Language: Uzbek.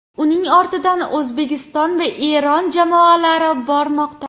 Uning ortidan O‘zbekiston va Eron jamoalari bormoqda.